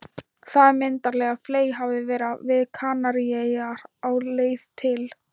Þetta myndarlega fley hafði verið við Kanaríeyjar á leið til